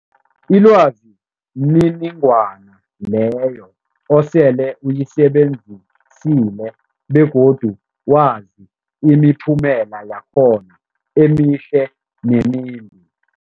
Ilwazi mniningwana leyo osele uyisebenzisile begodu wazi imiphumela yakhona emihle nemimbi.